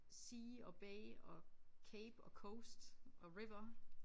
Sea og bay og cape og coast og river